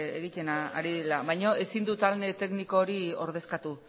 egiten ari direla baino ezin du talde tekniko hori ordezkatu